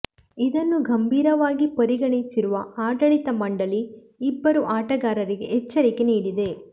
ಇದನ್ನು ಗಂಭೀರವಾಗಿ ಪರಿಗಣಿಸಿರುವ ಆಡಳಿತ ಮಂಡಳಿ ಇಬ್ಬರೂ ಆಟಗಾರರಿಗೆ ಎಚ್ಚರಿಕೆ ನೀಡಿದೆ